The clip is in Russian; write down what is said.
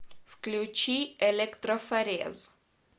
включи электрофорез